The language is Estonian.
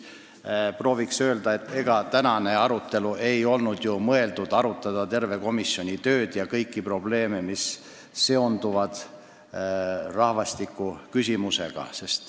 Ma tahan öelda, et ega tänane arutelu ei olnud ju mõeldud selleks, et arutada komisjoni kogu tööd ja kõiki probleeme, mis seonduvad rahvastiku küsimusega.